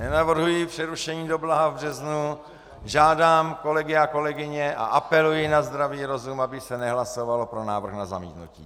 Nenavrhuji přerušení do blaha v březnu, žádám kolegy a kolegyně a apeluji na zdravý rozum, aby se nehlasovalo pro návrh na zamítnutí.